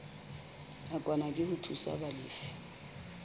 nakwana ke ho thusa balefi